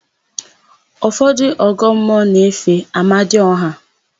Ụfọdụ ndị ọgọmmụọ na-efe Amadiọha.